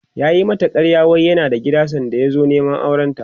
yayi mata ƙarya wai yana da gida sanda ya zo Neman aurenta